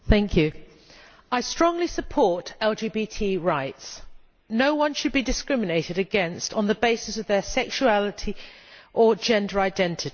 Mr President, I strongly support LGBT rights. No one should be discriminated against on the basis of their sexuality or gender identity.